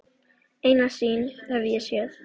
Eina sýn hef ég séð.